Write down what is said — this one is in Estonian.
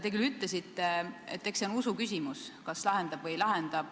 Te ütlesite, et eks see ole usuküsimus, kas probleem laheneb või ei lahene.